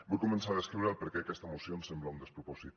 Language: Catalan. vull començar a descriure el per què aquesta moció em sembla un despropòsit